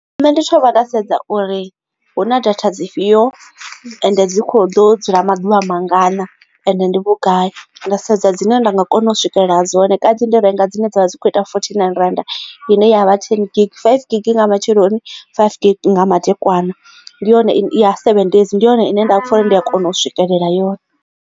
Nṋe ndi thoma nda sedza uri hu na data dzi fhio and dzi kho ḓo dzula maḓuvha mangana ende ndi vhugai nda sedza dzine nda nga kona u swikelela dzone kanzhi ndi renga dzine dzavha dzi kho ita fourty nine rannda ine ya vha ten gig, five gig nga matsheloni na five gig nga madekwana ndi yone ine ya seven days ndi yone ine nda kha uri ndi a kona u swikelela yone.